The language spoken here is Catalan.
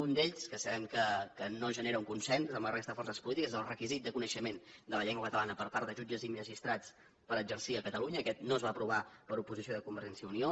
un d’ells que sabem que no genera un consens amb la resta de forces polítiques és el requisit de coneixement de la llengua catalana per part de jutges i magistrats per exercir a catalunya aquest no es va aprovar per oposició de convergència i unió